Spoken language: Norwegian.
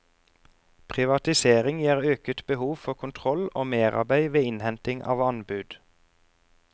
Privatisering gir øket behov for kontroll og merarbeid ved innhenting av anbud.